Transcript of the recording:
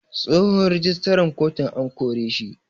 Tsohon rijistaran kotun an koreshi.